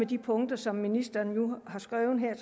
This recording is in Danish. de punkter som ministeren nu har skrevet her